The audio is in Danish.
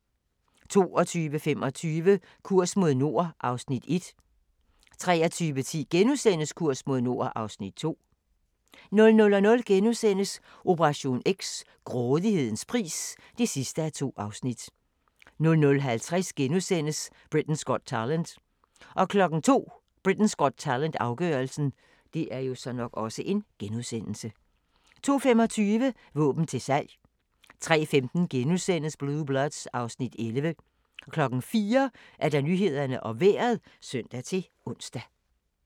22:25: Kurs mod nord (Afs. 1) 23:10: Kurs mod nord (Afs. 2)* 00:00: Operation X: Grådighedens pris (2:2)* 00:50: Britain's Got Talent * 02:00: Britain's Got Talent - afgørelsen 02:25: Våben til salg 03:15: Blue Bloods (Afs. 11)* 04:00: Nyhederne og Vejret (søn-ons)